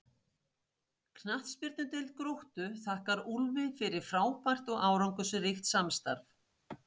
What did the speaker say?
Knattspyrnudeild Gróttu þakkar Úlfi fyrir frábært og árangursríkt samstarf.